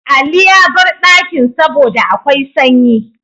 Ali yabar dakin saboda akwai sanyi